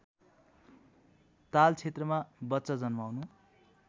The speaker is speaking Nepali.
तालक्षेत्रमा बच्चा जन्माउनु